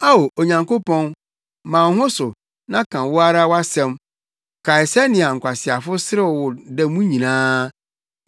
Ao, Onyankopɔn, ma wo ho so na ka wo ara wʼasɛm; kae sɛnea nkwaseafo serew wo da mu nyinaa.